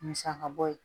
Musaka bɔ ye